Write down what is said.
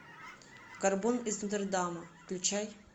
горбун из нотр дама включай